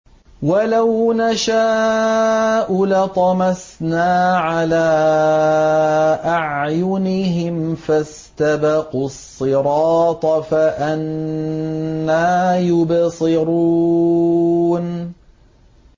وَلَوْ نَشَاءُ لَطَمَسْنَا عَلَىٰ أَعْيُنِهِمْ فَاسْتَبَقُوا الصِّرَاطَ فَأَنَّىٰ يُبْصِرُونَ